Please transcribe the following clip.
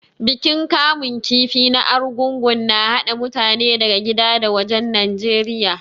Bikin kamun kifi na Arugungu na haɗa mutane daga gida da wajen Najeriya.